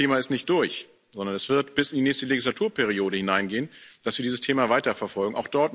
Das Thema ist nicht durch, sondern es wird bis in die nächste Legislaturperiode hineingehen, dass wir dieses Thema weiterverfolgen.